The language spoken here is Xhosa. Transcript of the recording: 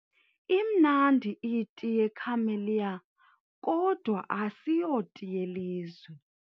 Imnamdi iti yeCamelliakodwa asiyoti yeli lizwe.